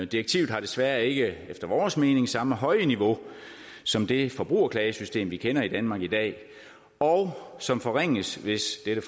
direktivet har desværre ikke efter vores mening samme høje niveau som det forbrugerklagesystem som vi kender i danmark i dag og som forringes hvis dette